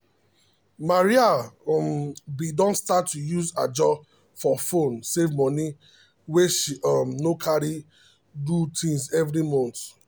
maria um bin don start to use ajo for phone um save money wey she um no carry do things every month.